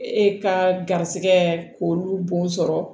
E ka garisɛgɛ k'olu bon sɔrɔ